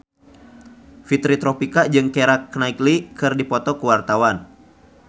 Fitri Tropika jeung Keira Knightley keur dipoto ku wartawan